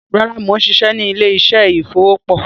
Rárá, mo ń ṣiṣẹ́ ní ilé-iṣẹ́ ìfọ̀po